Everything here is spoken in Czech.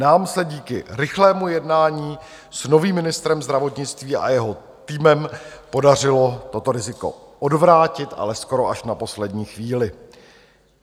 Nám se díky rychlému jednání s novým ministrem zdravotnictví a jeho týmem podařilo toto riziko odvrátit, ale skoro až na poslední chvíli.